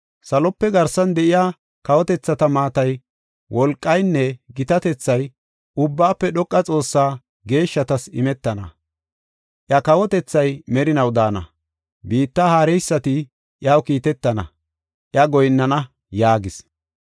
Salope garsan de7iya kawotethata maatay, wolqaynne gitatethay, Ubbaafe Dhoqa Xoossaa geeshshatas imetana. Iya kawotethay merinaw daana; biitta haareysati iyaw kiitetana; iya goyinnana’ ” yaagis.